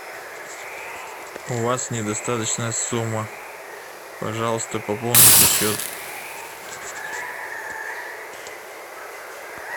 у вас недостаточная сумма пожалуйста пополните счет